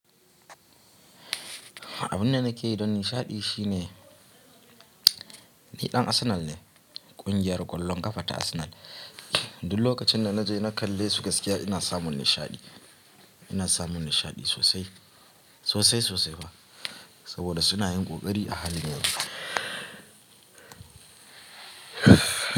Abin da nake yi don nishaɗi shine ni ɗan Arsenal ne, ƙungiyar ƙwallon ƙafa ta Arsenal. Duk lokacin da na je na kalle su gaskiya ina samun nishaɗi. Ina samun nishaɗi sosai, sosai sosai fa. Saboda suna yin ƙoƙari a halin yanzu.